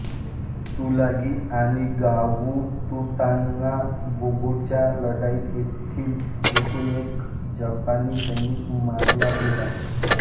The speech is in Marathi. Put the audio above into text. तुलागी आणि गावुतुतानांबोगोच्या लढाईत तेथील एकूण एक जपानी सैनिक मारला गेला